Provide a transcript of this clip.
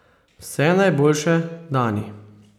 Vse najboljše, Dani.